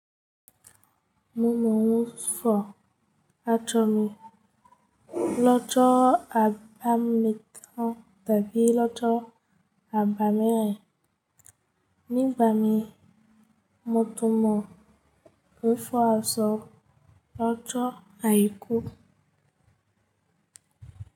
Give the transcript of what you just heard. Mo mọ̀ n fọ́ aṣọ mi lọ́jọ́ àbámẹ́ta tàbí lọ́jọ́ àbámẹ́rin. Nígbà mí mo tún mọ̀ wípé ó sọ ọjọ́ àìkú.